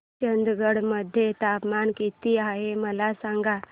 चंदगड मध्ये तापमान किती आहे मला सांगा